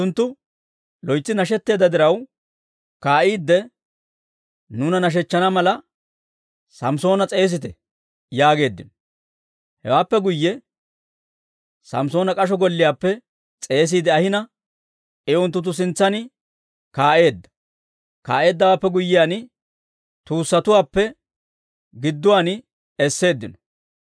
Unttunttu loytsi nashetteedda diraw, «Kaa'iide nuuna nashshechchana mala, Samssoona s'eesite» yaageeddino. Hewaappe guyye Samssoona k'asho golliyaappe s'eesiide ahina, I unttunttu sintsan kaa'eedda; kaa'eeddawaappe guyyiyaan, tuussatuwaappe gidduwaan esseeddino.